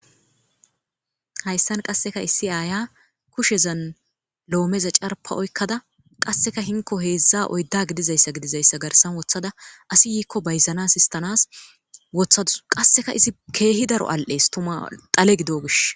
hayssan qasseka issi aaya kushezan loomeza carpa oykkada qasseka hinko heedzdza oydda gidizayssa gidizayssa garsan wothada asi yiikko bayzanas istanas wothau qasseka izi keehi daro al7ees tuma xale gido gish